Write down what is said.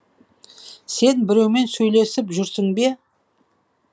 сен біреумен сөйлесіп жүрсің бе